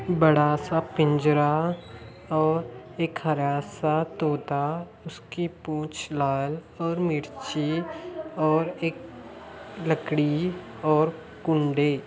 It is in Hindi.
बड़ा सा पिंजरा और एक हरा सा तोता उसकी पूछ लाल और मिर्ची और एक लकड़ी और कुंडे